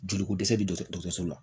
Joliko dɛsɛ de don so la